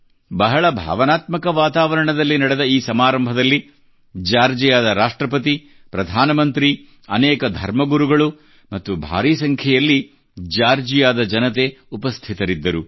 ಬಹಳ ಭಾವನಾತ್ಮಕ ವಾತಾವರಣದಲ್ಲಿ ನಡೆದ ಈ ಸಮಾರಂಭದಲ್ಲಿ ಜಾರ್ಜಿಯಾದ ರಾಷ್ಟ್ರಪತಿ ಪ್ರಧಾನಮಂತ್ರಿ ಅನೇಕ ಧರ್ಮ ಗುರುಗಳು ಮತ್ತು ಭಾರೀ ಸಂಖ್ಯೆಯಲ್ಲಿ ಜಾರ್ಜಿಯಾದ ಜನತೆ ಉಪಸ್ಥಿತರಿದ್ದರು